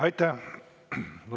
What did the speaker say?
Aitäh!